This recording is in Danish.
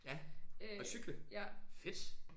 Ja og cykle? fedt